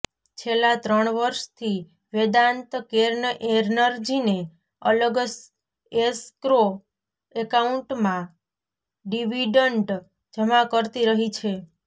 છેલ્લાં ત્રણ વર્ષથી વેદાંત કેર્ન એનર્જીને અલગ એસ્ક્રો એકાઉન્ટમાં ડિવિડન્ડ જમા કરતી રહી છે